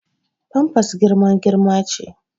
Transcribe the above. Famfas girma girma ce